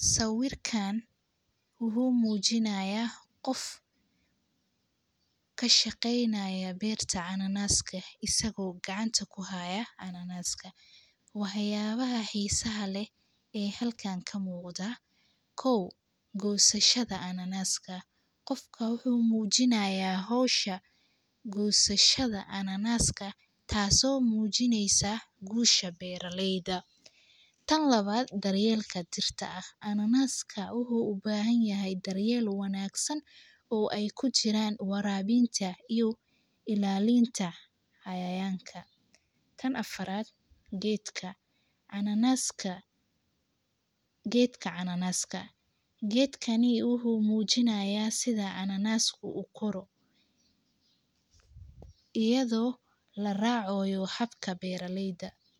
Sawirkaan wuxuu muujinayaa qof ka shaqaynaya beerta ananaaska isagoo gacanta ku haaya ananaaska. Waheyaba ahiisa hale ee halkaan ka moodda. kow Goosashada ananaaska. Qofka uhu muujinayaa hawsha goosashada ananaaska taaso muujineysaa guusha beeraleyda. tan lawad Daryeelka dirta ah. Ananaaska uhu ubaahan yahay daryeelo wanaagsan oo ay ku jiraan waraabiinta iyo ilaalinta cayayaanka. tan afarad Geedka. Ananaaska. Geedka ananaaska. Geedkani uhu muujinayaa sida ananaas ku uu koro. Iyadoo la raacayo habka beeraleyda.